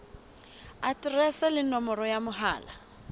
aterese le nomoro ya mohala